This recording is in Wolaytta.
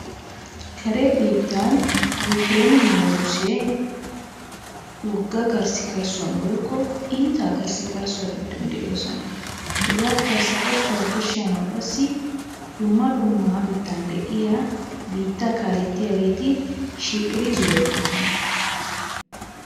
karen biittan Yuukerenne Russee wogga karssikarissuwa woykko iitaa karssikarssuwaa giddon de'oosona. Hegaa karssikarssaa birshshanaw qassi dumma dumma biittan de'iyaa biittaa kaaletiyaageeti shiiqidi zorettoosona.